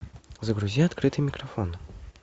загрузи открытый микрофон